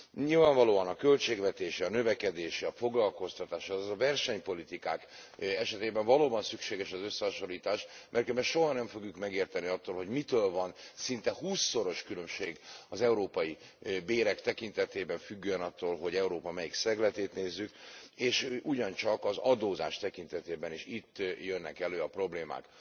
Nyilvánvalóan a költségvetés, a növekedés, a foglalkoztatás, azaz a versenypolitikák esetében valóban szükséges az összehasonlítás, mert különben soha nem fogjuk megérteni, hogy mitől van szinte húszszoros különbség az európai bérek tekintetében, attól függően, hogy Európa melyik szegletét nézzük, és ugyancsak az adózás tekintetében is itt jönnek elő a problémák.